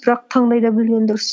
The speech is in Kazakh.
бірақ таңдай да білген дұрыс